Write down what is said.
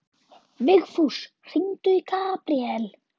Vigfús, hringdu í Gabriel.